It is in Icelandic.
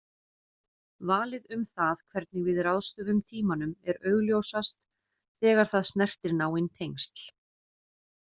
Valið um það hvernig við ráðstöfum tímanum er augljósast þegar það snertir náin tengsl.